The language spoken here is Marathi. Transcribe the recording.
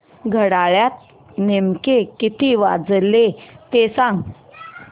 घड्याळात नेमके किती वाजले ते सांग